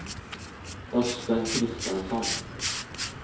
Östen Christensson